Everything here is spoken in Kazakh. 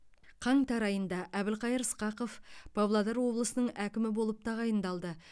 қаңтар айында әбілқайыр сқақов павлодар облысының әкімі болып тағайындалды